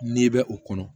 N'i bɛ o kɔnɔ